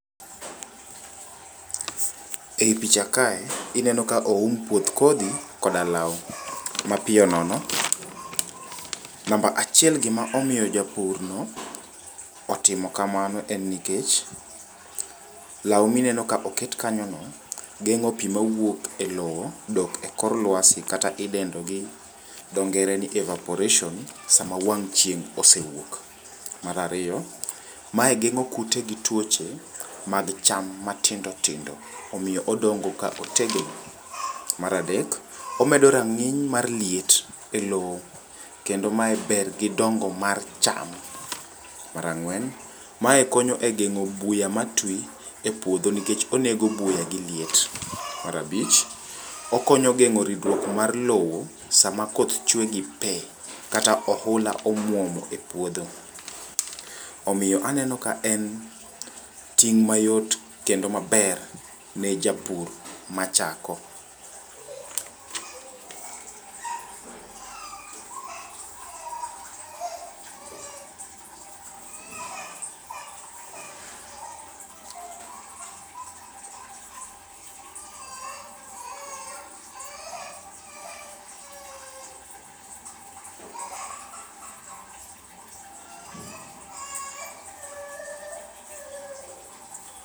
Eyi picha kae ineno ka oum puoth kodhi koda law mapiyo nono. Namba achiel gima omiyo japurno otimo kamano enni nikech, law mineno ka oket kanyono geng'o pii mawuok elowo dok e kor lwasi kata idendo gi dhoo ngere ni evapouration sama wang' chieng' osewuok. Mar ariyo mae geng'o kute gi tuoche mag cham matindo tindo omiyo odongo ka otegno. Mar adek omedo rang'iny mar liet e loo kendo mae ber gi dongo mara cham. Mar ang'wen, mae konyo e gengo buya ma twi epuodho nikech onego buya gi liet. Mar abich, okonyo geng'o ridruok mar lowo sama koth chwe gi pee kata ohula omuomo epuodho. Omiyo aneno ka en ting' mayot kendo maber ne japur machako.